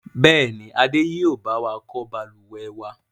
Bẹ́ẹ̀ni, Adé yìí ó bá wà kọ́ Balùwẹ̀ wa.